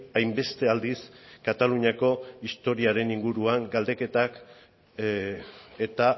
hainbeste aldiz kataluniako historiaren inguruan galdeketak eta